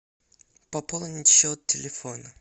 пополнить счет телефона